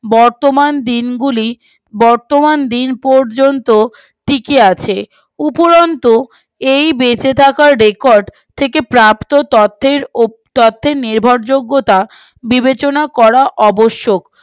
বর্তমান দিন পর্যন্ত টিকে আছে উপরন্তু এই বেঁচে থাকার রেকর্ড থেকে প্রাপ্ত তথ্যে তথ্যের নির্ভরযোগ্যতা বিবেচনা করা অবসক